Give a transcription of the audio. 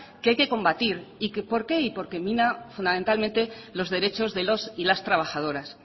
que hay que combatir y por qué porque mina fundamentalmente los derechos de los y las trabajadoras